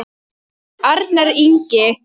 Arnar Ingi.